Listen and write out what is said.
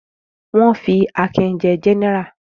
Wọ́n fi Akin jẹ gẹ́nẹrà?